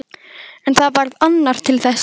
En það varð annar til þess.